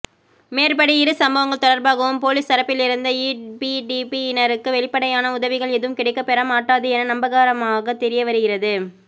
மேற்படி இரு சம்பவங்கள் தொடர்பாகவும் பொலிஸ் தரப்பிலிருந்த ஈபிடிபி யினருக்கு வெளிப்படையான உதவிகள் எதுவும் கிடைக்கப்பெறமாட்டாது என நம்பகரமாக தெரியவருகின்றது